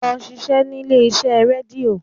Lọ ṣiṣẹ́ nílé iṣẹ́ rédíò!